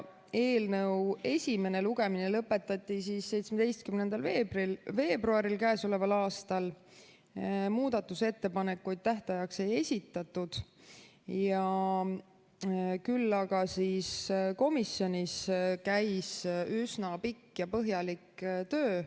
Eelnõu esimene lugemine lõpetati 17. veebruaril k.a. Muudatusettepanekuid tähtajaks ei esitatud, küll aga käis komisjonis üsna pikk ja põhjalik töö.